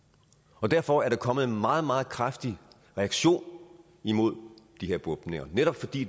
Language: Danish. og derfor er der kommet en meget meget kraftig reaktion imod de her bombninger netop fordi